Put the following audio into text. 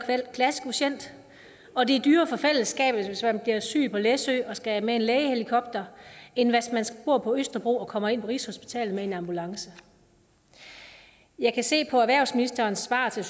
klassekvotient og det er dyrere for fællesskabet hvis man bliver syg på læsø og skal med en lægehelikopter end hvis man bor på østerbro og kommer ind på rigshospitalet med en ambulance jeg kan se på erhvervsministerens svar til